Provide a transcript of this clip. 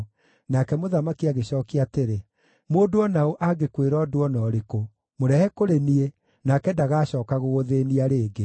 Nake mũthamaki agĩcookia atĩrĩ, “Mũndũ o na ũ angĩkwĩra ũndũ o na ũrĩkũ, mũrehe kũrĩ niĩ, nake ndagacooka gũgũthĩĩnia rĩngĩ.”